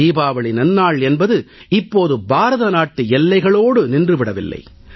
தீபாவளி நன்னாள் என்பது இப்போது பாரத நாட்டு எல்லைகளோடு நின்று விடவில்லை